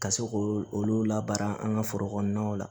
Ka se k'olu olu la baara an ka foro kɔnɔnaw la